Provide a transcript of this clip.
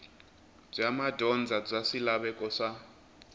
bya madyondza bya swilaveko swa